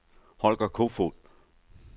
Holger Kofoed